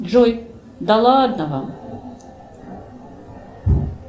джой да ладно вам